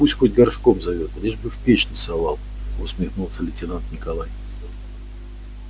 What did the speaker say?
пусть хоть горшком зовёт лишь бы в печь не совал усмехнулся лейтенант николай